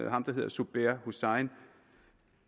ham der hedder zubair hussain